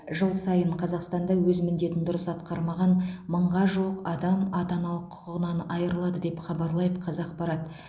жыл сайын қазақстанда өз міндетін дұрыс атқармаған мыңға жуық адам ата аналық құқығынан айырылады деп хабарлайды қазақпарат